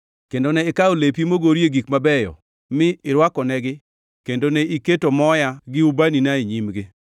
Kendo ne ikawo lepi mogorie gik mabeyo mi irwakonegi kendo ne iketo moya gi ubanina e nyimgi.